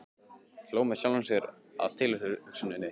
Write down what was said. Hló með sjálfri mér að tilhugsuninni.